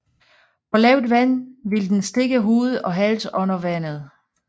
På lavt vand vil den stikke hoved og hals under vandet